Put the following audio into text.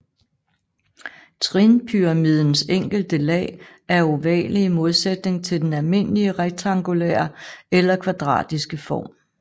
Trinpyramidens enkelte lag er ovale i modsætning til den almindelige rektangulære eller kvadratiske form